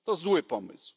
To zły pomysł.